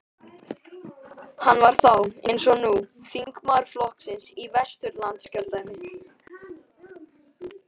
Hann var þá, eins og nú, þingmaður flokksins í Vesturlandskjördæmi.